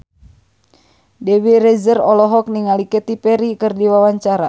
Dewi Rezer olohok ningali Katy Perry keur diwawancara